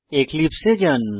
এক্লিপসে এ যান